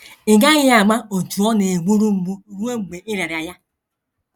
“ Ị GAGHỊ AMA OTÚ Ọ NA - EGBURU MGBU RUO MGBE Ị RỊARA YA.